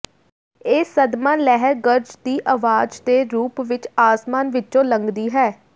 ਇਹ ਸਦਮਾ ਲਹਿਰ ਗਰਜ ਦੀ ਆਵਾਜ਼ ਦੇ ਰੂਪ ਵਿੱਚ ਅਸਮਾਨ ਵਿੱਚੋਂ ਲੰਘਦੀ ਹੈ